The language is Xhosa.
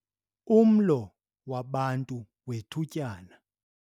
Umlo wabantu wethutyana